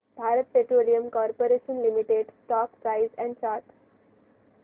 Bharat petroleum corporation limited stock price and chart